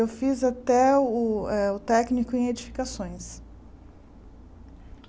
Eu fiz até o eh o técnico em edificações.